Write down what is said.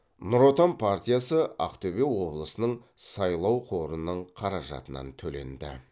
нұр отан партиясы ақтөбе облысының сайлау қорының қаражатынан төленді